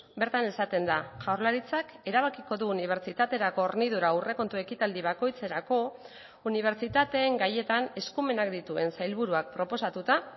bertan esaten da jaurlaritzak erabakiko du unibertsitaterako hornidura aurrekontu ekitaldi bakoitzerako unibertsitateen gaietan eskumenak dituen sailburuak proposatuta